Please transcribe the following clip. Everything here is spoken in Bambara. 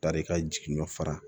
Tari ka jigin nɔ fara